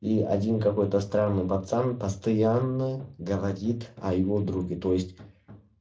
и один какой-то странный пацан постоянно говорит о его друге то есть